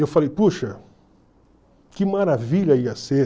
E eu falei, puxa, que maravilha ia ser